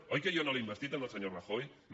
oi que jo no l’he investit al senyor rajoy no